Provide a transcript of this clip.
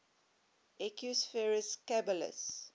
equus ferus caballus